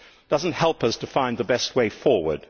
it does not help us to find the best way forward.